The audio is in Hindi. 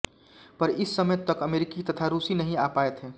पर इस समय तक अमरीकी तथा रूसी नहीं आ पाये थे